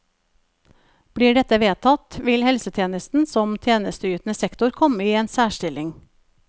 Blir dette vedtatt, vil helsetjenesten som tjenesteytende sektor komme i en særstilling.